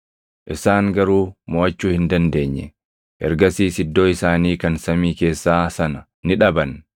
Isaan garuu moʼachuu hin dandeenye; ergasiis iddoo isaanii kan samii keessaa sana ni dhaban.